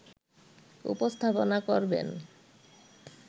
উপস্থাপনা করবেন